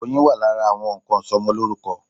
Oyin wà lára àwọn nnkan ìsọmọlórúkọ.